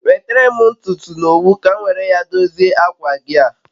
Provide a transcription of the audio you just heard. Nwetere m ntutu na owu ka m nwere a dozie akwa gi a